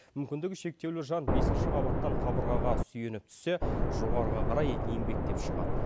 мүмкіндігі шектеулі жан бесінші қабаттан қабырғаға сүйеніп түссе жоғарыға қарай еңбектеп шығады